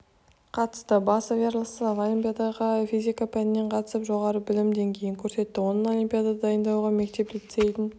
қатысты басов ярослав олимпиадаға физика пәнінен қатысып жоғары білім деңгейін көрсетті оның олимпиадаға дайындауға мектеп-лицейдің